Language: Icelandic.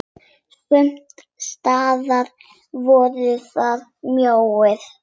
Sums staðar voru þær mjóar.